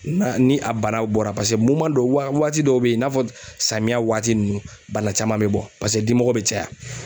Na ni a banaw bɔra pase moman don waa waati dɔw be yen i n'a fɔ samiya waati nunnu bana caman me bɔ pase dimɔgɔ be caya